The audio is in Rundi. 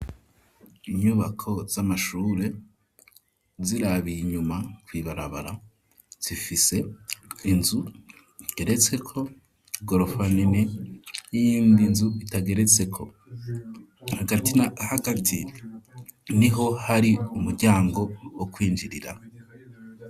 Inyubako z'amashure, uzirabiye inyuma kw'ibarabara, zifise inzu igeretseko igorofa nini n'iyindi nzu itageretseko; hagati na hagati niho hari umuryango wo kwinjirira.